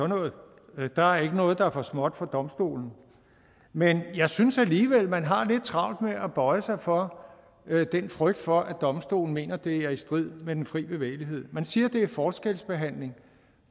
noget der er ikke noget der er for småt for eu domstolen men jeg synes alligevel man har lidt travlt med at bøje sig for den frygt for at eu domstolen mener det er i strid med den fri bevægelighed man siger det er forskelsbehandling